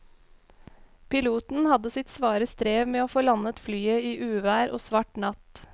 Piloten hadde sitt svare strev med å få landet flyet i uvær og svart natt.